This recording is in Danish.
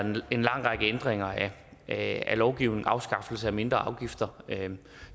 en lang række ændringer af lovgivningen afskaffelse af mindre afgifter